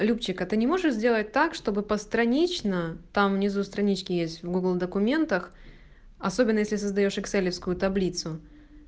любчик а ты не можешь сделать так чтобы постранично там внизу страничке есть в гугл документах особенно если создаёшь экселевскую таблицу